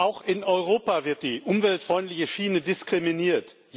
Auch in Europa wird die umweltfreundliche Schiene diskriminiert.